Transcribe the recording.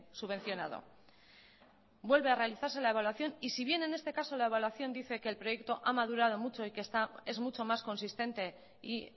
subvencionado vuelve a realizarse la evaluación y si bien en este caso la evaluación dice que el proyecto ha madurado mucho y que es mucho más consistente y